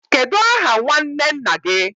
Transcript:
Kedu aha nnwanne nna gi?